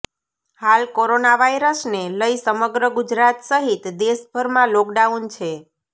હાલ કોરોના વાયરસને લઈ સમગ્ર ગુજરાત સહિત દેશભરમાં લોકડાઉન છે